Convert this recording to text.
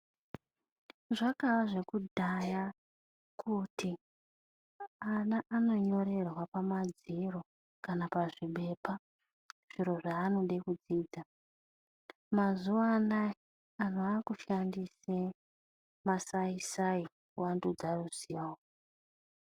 Zvakaye zvekudhaya kuti vana vanonyorerwa pamadziro kana pamapepa zviro zvavanenge vachida kudzidza asi mazuva ano vandu vava kushandisa masaisai kuvandudza ruzivo .